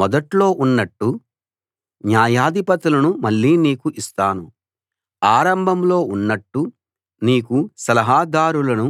మొదట్లో ఉన్నట్టు న్యాయాధిపతులను మళ్ళీ నీకు ఇస్తాను ఆరంభంలో ఉన్నట్టు నీకు సలహాదారులను